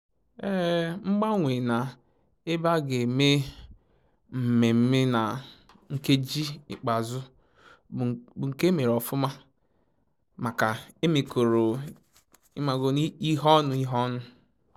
Mgbanwe na ebe aga eme mmemme na nkeji ikpeazụ bu nke emere ofụma maka e mekọrọ ihe ọnụ ihe ọnụ